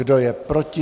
Kdo je proti?